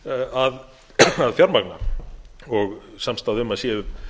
að fjármagna og samstaða um að séu